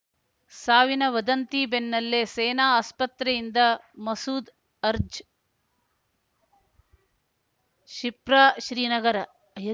ಸಾವಿನ ವದಂತಿ ಬೆನ್ನಲ್ಲೇ ಸೇನಾ ಆಸ್ಪತ್ರೆಯಿಂದ ಮಸೂದ್‌ ಅರ್ಜ್ ಶಿಪ್ರಾ ಶ್ರೀನಗರ